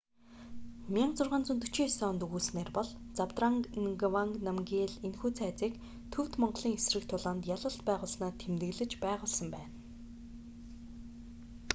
1649 онд өгүүлсэнээр бол забдранг нгаванг намгиел энэхүү цайзыг төвд-монголын эсрэг тулаанд ялалт байгуулсанаа тэмдэглэж байгуулсан байна